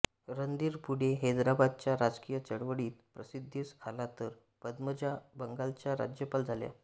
रणधीर पुढे हैदराबादच्या राजकीय चळवळीत प्रसिद्धीस आला तर पद्मजा बंगालच्या राज्यपाल झाल्या